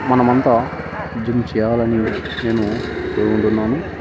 మనమంతా జిమ్ చేయాలని నేను కోరుకుంటున్నాను.